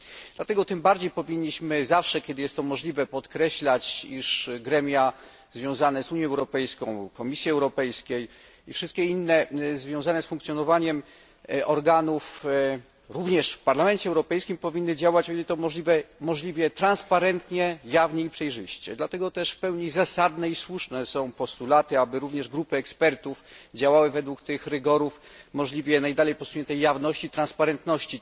Dlatego tym bardziej powinniśmy zawsze, kiedy jest to możliwe, podkreślać, iż gremia związane z Unią Europejską, Komisją Europejską i wszystkie inne związane z funkcjonowaniem organów, również w Parlamencie Europejskim, powinny działać, o ile to możliwe, jak najbardziej przejrzyście i jawnie. Dlatego też w pełni zasadne i słuszne są postulaty, aby również grupy ekspertów działały według tych rygorów w możliwie najdalej posuniętej jawności, transparentności.